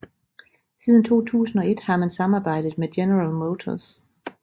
Siden 2001 har man samarbejdet med General Motors